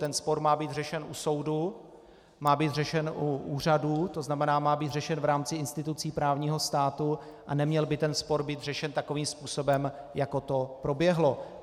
Ten spor má být řešen u soudu, má být řešen u úřadů, to znamená, má být řešen v rámci institucí právního státu a neměl by ten spor být řešen takovým způsobem, jako to proběhlo.